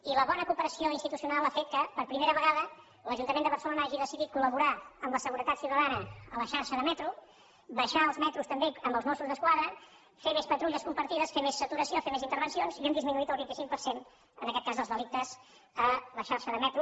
i la bona cooperació institucional ha fet que per primera vegada l’ajuntament de barcelona hagi decidit col·laborar amb la seguretat ciutadana a la xarxa de metro baixar als metros també amb els mossos d’esquadra fer més patrulles compartides fer més saturació fer més intervencions i hem disminuït el vint cinc per cent en aquest cas els delictes a la xarxa de metro